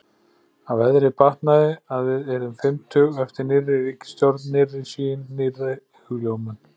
Að veðrið batnaði, að við yrðum fimmtug- eftir nýrri ríkisstjórn, nýrri sýn, nýrri hugljómun.